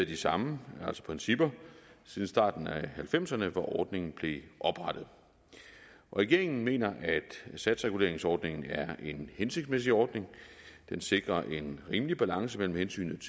de samme principper siden starten af nitten halvfemserne hvor ordningen blev oprettet regeringen mener at satsreguleringsordningen er en hensigtsmæssig ordning den sikrer en rimelig balance mellem hensynet